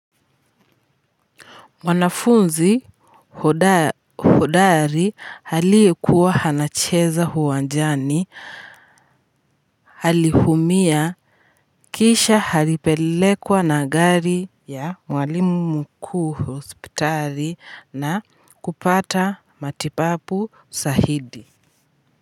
Wanafunzi hodari aliyekuwa anacheza uwanjani, aliumia kisha alipelekwa na gari ya mwalimu mkuu hospitali na kupata matibabu zaidi.